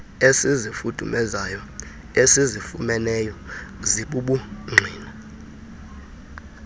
ezifudumezayo esizifumeneyo zibubungqina